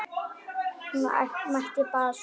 Mætti bara á svæðið.